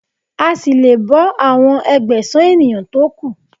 A ṣì lè bọ́ àwọn Ẹgbẹ̀sán ènìyàn tó kù.